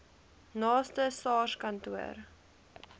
naaste sars kantoor